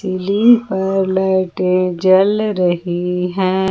पर लाइटें जल रही हैं।